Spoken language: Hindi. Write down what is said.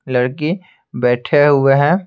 लड़की बैठे हुए हैं।